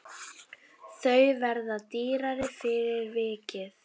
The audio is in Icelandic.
Þau verða dýrari fyrir vikið.